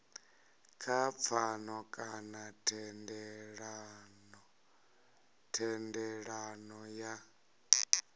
kha pfano kana thendelano ya